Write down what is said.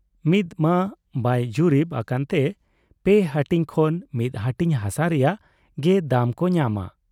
ᱢᱤᱫᱢᱟ ᱵᱟᱭ ᱡᱩᱨᱤᱵᱽ ᱟᱠᱟᱱ ᱛᱮ ᱯᱮ ᱦᱟᱹᱴᱤᱧ ᱠᱷᱚᱱ ᱢᱤᱫ ᱦᱟᱹᱴᱤᱧ ᱦᱟᱥᱟ ᱨᱮᱭᱟᱜ ᱜᱮ ᱫᱟᱢ ᱠᱚ ᱧᱟᱢᱟ ᱾